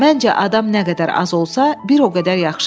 Məncə adam nə qədər az olsa, bir o qədər yaxşıdır.